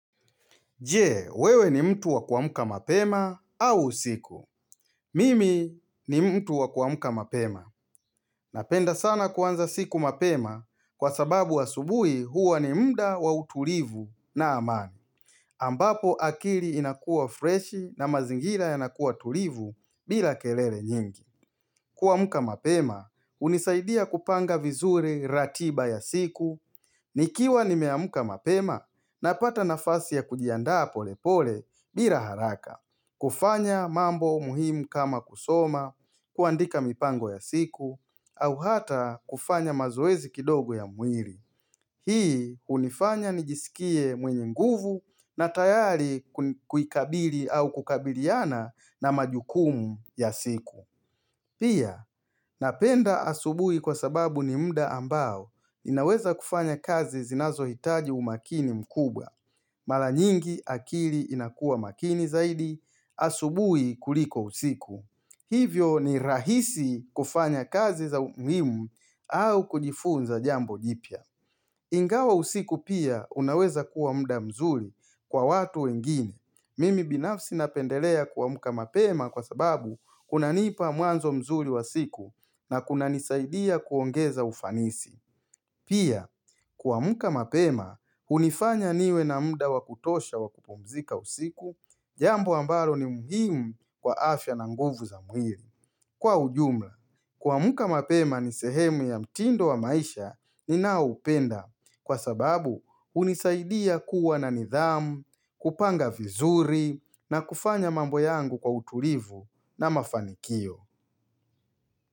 Jee, wewe ni mtu wa kuamka mapema au usiku. Mimi ni mtu wa kuamuka mapema. Napenda sana kuanza siku mapema kwa sababu asubuhi huwa ni mda wa utulivu na amani. Ambapo akili inakua freshi na mazingira yanakua tulivu bila kelele nyingi. Kuamka mapema hunisaidia kupanga vizuri ratiba ya siku, nikiwa nimemka mapema napata nafasi ya kujiandaa pole pole bila haraka. Kufanya mambo muhimu kama kusoma, kuandika mipango ya siku, au hata kufanya mazoezi kidogo ya mwili. Hii hunifanya nijisikie mwenye nguvu na tayari kuikabili au kukabiliana na majukumu ya siku. Pia, napenda asubuhi kwa sababu ni mda ambao ninaweza kufanya kazi zinazohitaji umakini mkubwa. Mara nyingi akili inakua makini zaidi, asubuhi kuliko usiku. Hivyo ni rahisi kufanya kazi za umuhimu au kujifunza jambo jipya. Ingawa usiku pia unaweza kuwa mda mzuri kwa watu wengine. Mimi binafsi napendelea kuamka mapema kwa sababu kuna nipa mwanzo mzuri wa siku na kunanisaidia kuongeza ufanisi. Pia, kuamka mapema hunifanya niwe na muda wa kutosha wa kupumzika usiku, jambo ambalo ni muhimu kwa afya na nguvu za mwili. Kwa ujumla, kuamka mapema ni sehemu ya mtindo wa maisha ninaoupenda kwa sababu hunisaidia kuwa na nidhamu, kupanga vizuri na kufanya mambo yangu kwa utulivu na mafanikio.